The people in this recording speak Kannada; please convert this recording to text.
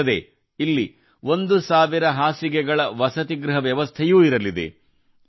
ಇದಲ್ಲದೆ ಇಲ್ಲಿ 1000 ಹಾಸಿಗೆಗಳ ವಸತಿಗೃಹ ವ್ಯವಸ್ಥೆಯೂ ಇರಲಿದೆ